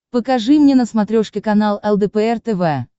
покажи мне на смотрешке канал лдпр тв